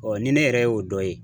ni ne yɛrɛ y'o dɔ ye